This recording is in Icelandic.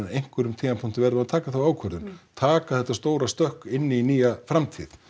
einhverjum tímapunkti verðum við að taka þá ákvörðun taka þetta stóra stökk inn í nýja framtíð